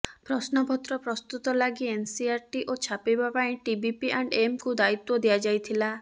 ପ୍ରଶ୍ନପତ୍ର ପ୍ରସ୍ତୁତ ଲାଗି ଏସ୍ସିଇଆରଟି ଓ ଛାପିବା ପାଇଁ ଟିବିପି ଆଣ୍ଡ ଏମ୍କୁ ଦାୟିତ୍ବ ଦିଆଯାଇଥିଲା